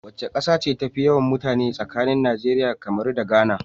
Wace kasa ce tafi yawan mutane a tsakanin Nigeria, Cameron da Ghana?